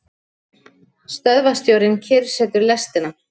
Stöðvarstjórinn kyrrsetur lestina.